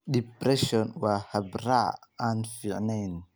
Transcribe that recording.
Depression waa habraac aan fiicneyn.